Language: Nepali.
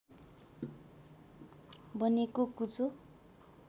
बनेको कुचो